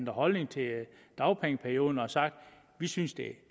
holdning til dagpengeperioden og har sagt vi synes det er